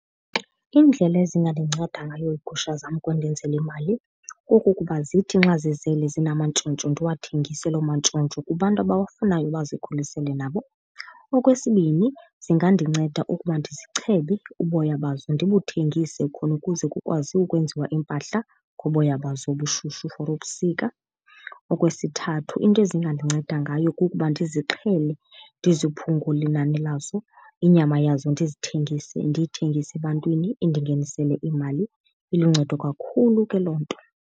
Iindlela ezinganceda ngayo iigusha zam ukundenzela imali kukuba zithi xa zizele zinamantshontsho ndiwathengise loo mantshontsho kubantu abawafunayo bazikhulisele nabo. Okwesibini, zingandinceda ukuba ndizichebe uboya bazo ndibuthengise khona ukuze kukwazi ukwenziwa iimpahla ngoboya bazo obushushu for ubusika. Okwesithathu, into ezingandinceda ngayo kukuba ndizixhele ndiziphungule inani lazo, inyama yazo ndizithengise, ndiyithengise ebantwini indingenesele imali. Iluncedo kakhulu ke loo nto.